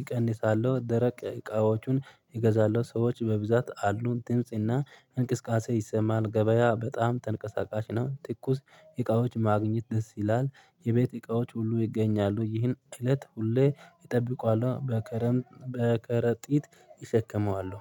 እቀንሳለሁ ደረቅ እቃዎቹን። እገዛለሁ ሰዎች በብዛት አሉ ድምጽና እንቅስቃሴ ይሰማል። ገበያ በጣም ተንቀሳቃሽ ነው። ትኩስ እቃዎች ማግኘት ደስ ይላል። የቤት እቃዎች ሁሉ ይገኛሉ ይህን እለት ሁሌ እጠብቀዋለሁ። በከረምት በከረጢት እሸከመዋለሁ